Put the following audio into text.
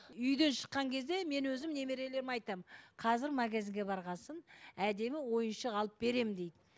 үйден шыққан кезде мен өзім немерелеріме айтамын қазір магазинге барған соң әдемі ойыншық алып беремін деймін